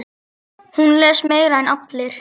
Hún les meira en allir.